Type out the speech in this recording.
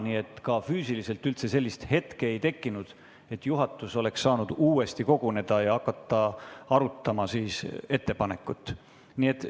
Nii et füüsiliselt sellist hetke ei tekkinud, et juhatus oleks saanud uuesti koguneda ja hakata ettepanekut arutama.